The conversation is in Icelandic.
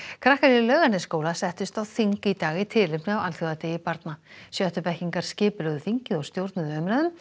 krakkar í Laugarnesskóla settust á þing í dag í tilefni af alþjóðadegi barna skipulögðu þingið og stjórnuðu umræðum